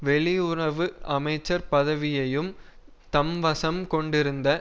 வெளியுறவு அமைச்சர் பதவியையும் தம்வசம் கொண்டிருந்த